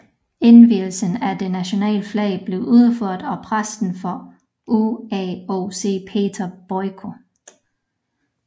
Indvielsen af det nationale flag blev udført af præsten for UAOC Peter Boyko